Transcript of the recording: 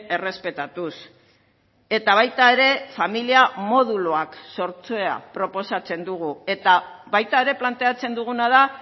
errespetatuz eta baita ere familia moduluak sortzea proposatzen dugu eta baita ere planteatzen duguna da